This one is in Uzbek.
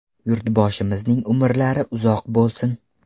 Yurtboshimizning umrlari uzoq bo‘lsin.